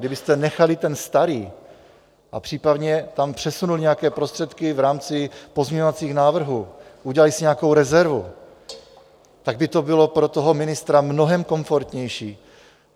Kdybyste nechali ten starý a případně tam přesunuli nějaké prostředky v rámci pozměňovacích návrhů, udělali si nějakou rezervu, tak by to bylo pro toho ministra mnohem komfortnější.